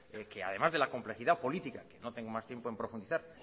que además de la complejidad política que no tengo más tiempo en profundizar